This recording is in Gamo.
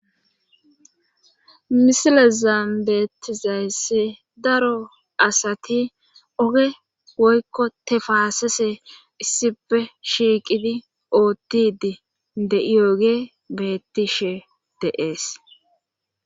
misile zaambeetizaese daro asati oge woykko tefaasese issipe shiiqidi oottidi de7ioge beettishe deees